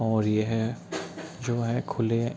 और ये है जो है खुले --